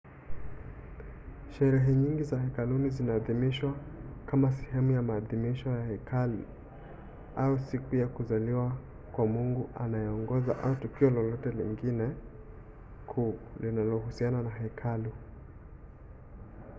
sherehe nyingi za hekaluni zinaadhimishwa kama sehemu ya maadhimisho ya hekalu au siku ya kuzaliwa kwa mungu anayeongoza au tukio lolote jingine kuu linalohusiana na hekalu